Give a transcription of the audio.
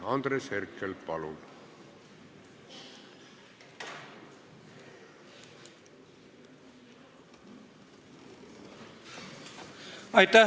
Andres Herkel, palun!